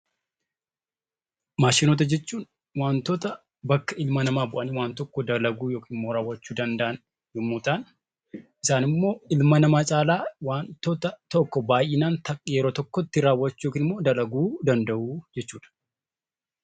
Maashinoota jechuun wantoota bakka ilma namaa bu'ananii waan tokko dalaguu yookiin immoo raawwachuu danda'an yommuu ta'an, isaan immoo ilma namaa caalaa isaanimmoo ilma namaa caalaa wantoota tokko yeroo tokkotti raawwachuu yookiin dalaguu danda'u jechuudha.